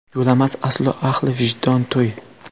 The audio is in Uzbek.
Yo‘lamas aslo ahli vijdon to‘y.